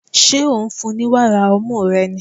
Ṣé ò ń fún-un ní wàrà ọmú rẹ ni?